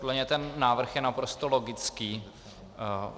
Podle mě ten návrh je naprosto logický.